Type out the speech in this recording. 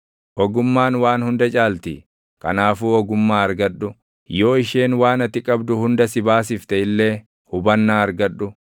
Ogummaan waan hunda caalti; kanaafuu ogummaa argadhu. Yoo isheen waan ati qabdu hunda si baasifte illee hubannaa argadhu.